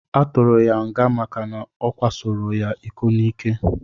Aturu ya nga maka na okwasoro ya iko nike.